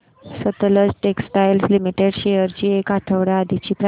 Sutlej textiles limited shares ची एक आठवड्या आधीची प्राइस